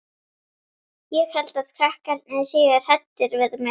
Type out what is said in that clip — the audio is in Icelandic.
Ég held að krakkarnir séu hræddir við mig.